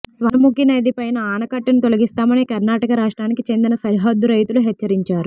స్వర్ణ ముఖి నది పైన ఆనకట్టను తొలగిస్తామని కర్నాటక రాష్ట్రానికి చెందిన సరిహద్దు రైతులు హెచ్చరించారు